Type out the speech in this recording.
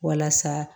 Walasa